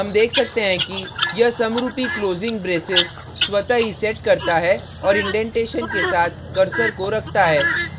हम देख सकते हैं कि यह समरुपी closing brace स्वतः ही sets करता है और indentation के साथ cursor को रखता है